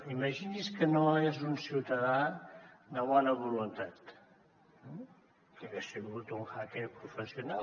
imagini’s que no és un ciutadà de bona voluntat eh que hagués sigut un hacker professional